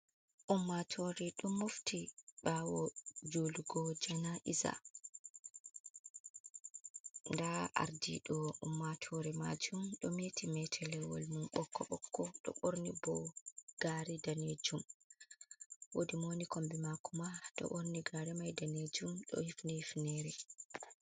Ummatore ɗum mofti ɓawo julugo jana iza nda ardi ɗo ummatore majum ɗo meti mete lewol mum ɓokko ɓokko ɗo ɓorni bo gari danejum, wodi mo wo ni kombe mako ma ɗo ɓorni gare mai danejum ɗo hifni hifnere.